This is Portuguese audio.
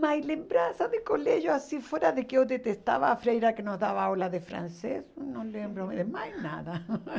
Mas lembrança de colégio, assim fora de que eu detestava a freira que nos dava aula de francês, não lembro é mais nada.